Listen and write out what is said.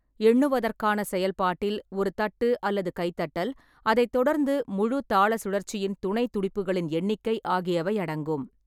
எண்ணுவதற்கான செயல்பாட்டில் ஒரு தட்டு அல்லது கைதட்டல், அதைத் தொடர்ந்து முழு தாள சுழற்சியின் துணை துடிப்புகளின் எண்ணிக்கை ஆகியவை அடங்கும்.